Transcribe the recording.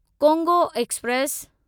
Congo express